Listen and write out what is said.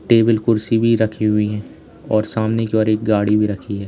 Table कुर्सी भी रखी हुई है और सामने की और एक गाड़ी भी रखी है।